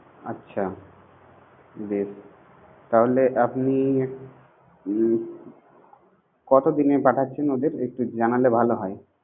আচ্ছা বেশ, তাহলে আপনি উম কত দিনে পাঠাচ্ছেন ওদের, একটু জানালে ভালো হয়